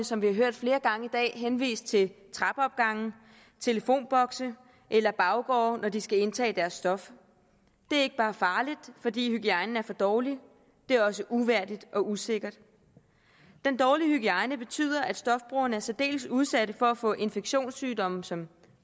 som vi har hørt flere gange i dag henvist til trappeopgange telefonbokse eller baggårde når de skal indtage deres stof det er ikke bare farligt fordi hygiejnen er for dårlig det er også uværdigt og usikkert den dårlige hygiejne betyder at stofbrugerne er særdeles udsatte for at få infektionssygdomme som